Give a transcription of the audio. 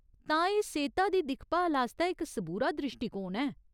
तां एह् सेह्ता दी दिक्खभाल आस्तै इक सबूरा द्रिश्टीकोण ऐ।